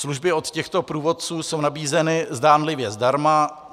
Služby od těchto průvodců jsou nabízeny zdánlivě zdarma.